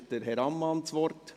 Wünscht Herr Ammann das Wort?